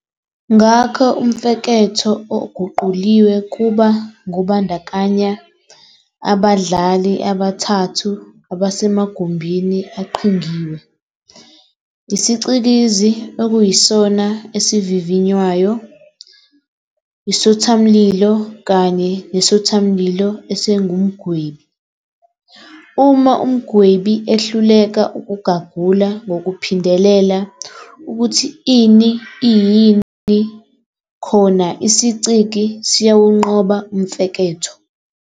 Ngakho umfeketho oguquliwe kuba ngobandakanya abadlali abathathu abasemagumbini aqhingiwe- isiCikizi, okuyisona esivivinywayo, isothamlilo kanye nesothamlilo esingumgwebi. Uma umgwebi ehluleka ukugagula ngokuphindelela ukuthi ini iyini, khona isiCikizi siyawunqoba umfeketho.